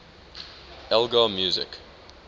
elgar music